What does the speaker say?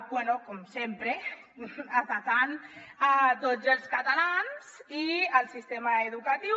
bé com sempre atacant tots els catalans i el sistema educatiu